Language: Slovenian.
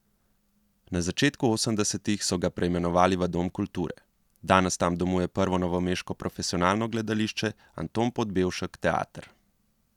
Na začetku osemdesetih so ga preimenovali v Dom kulture, danes tam domuje prvo novomeško profesionalno gledališče Anton Podbevšek Teater.